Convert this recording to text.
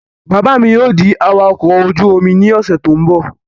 Bàbá mi yóò di awakọ̀ ojú-omi ní ọ̀sẹ̀ tó n bọ̀